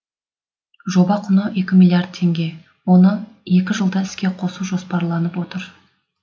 жоба құны екі миллиард теңге оны екі жылда іске қосу жоспарланып отыр